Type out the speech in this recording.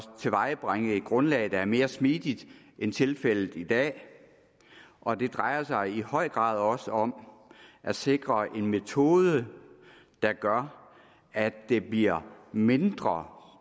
tilvejebringe et grundlag der er mere smidigt end tilfældet er i dag og det drejer sig i høj grad også om at sikre en metode der gør at det bliver mindre